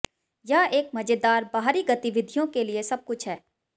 यह एक मजेदार बाहरी गतिविधियों के लिए सब कुछ है